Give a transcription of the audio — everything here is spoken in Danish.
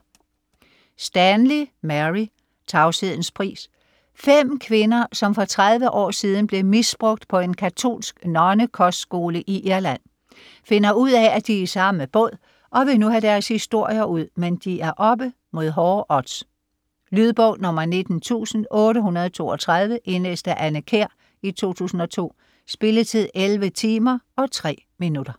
Stanley, Mary: Tavshedens pris 5 kvinder, som for 30 år siden blev misbrugt på en katolsk nonnekostskole i Irland, finder ud af at de er i samme båd, og vil nu have deres historier ud, men de er oppe mod hårde odds. Lydbog 19832 Indlæst af Anne Kjær, 2002. Spilletid: 11 timer, 3 minutter.